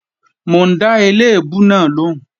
Mò ń dá eléèbú náà lòún